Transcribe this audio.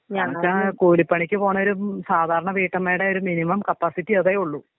കൂലിപ്പണിക്ക് പോവുന്ന ഒരു സാധാരണ വീട്ടമ്മേടെ ഒരു മിനിമം കപ്പാസിറ്റി അതേയുള്ളു.